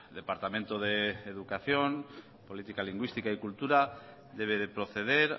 departamento de educación política lingüística y cultura debe de proceder